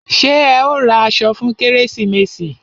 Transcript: Ṣé ẹ ó ra aṣọ fún kérésìmesì?